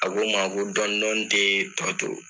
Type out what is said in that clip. A ko n ma a ko dɔni dɔni tɛ tɔ to